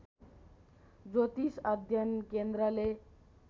ज्योतिष अध्ययन केन्द्रले